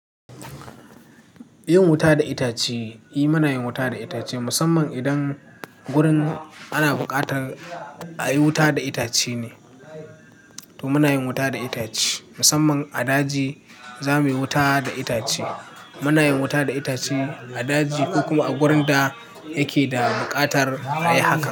Yin wuta da itace, eh muna yin wuta da itace musamman idan gurin ana buƙatar a yi wuta da itace ne, to muna yin wuta da itace. Musamman a daji za muyi wuta da itace. Muna yin wuta da itace a daji ko kuma a wurin da yake da buƙatar a yi haka.